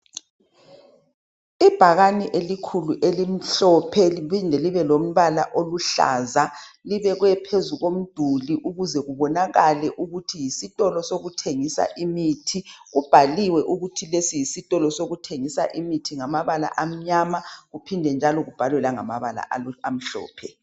Ibhakane elikhulu, elimhlophe, liphinde libe lombala oluhlaza. Libekwe phezu komduli. Ukuze kubonakale ukuthi yisitolo sokuthengisa imithi. Kubhaliwe ukuthi lesi yisitolo sokuthengisa imithi, ngamabala amnyama. Kuphinde njalo kubhalwe ngamabala amhlophe.